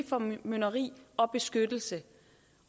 formynderi og beskyttelse